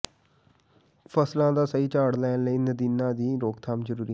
ਫ਼ਸਲਾਂ ਦਾ ਸਹੀ ਝਾੜ ਲੈਣ ਲਈ ਨਦੀਨਾਂ ਦੀ ਰੋਕਥਾਮ ਜ਼ਰੂਰੀ